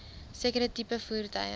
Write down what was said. sekere tipe voertuie